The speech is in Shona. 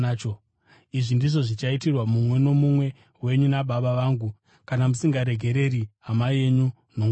“Izvi ndizvo zvichaitirwa mumwe nomumwe wenyu naBaba vangu vari kudenga kana musingaregereri hama yenyu nomwoyo wose.”